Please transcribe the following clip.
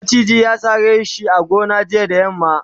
maciji ya sare shi a gona jiya da yamma